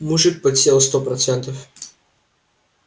мужик подсел сто процентов